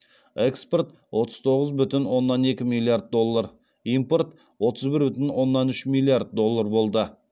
экспорт отыз тоғыз бүтін оннан екі миллиард доллар импорт отыз бір бүтін оннан үш миллиард доллар болды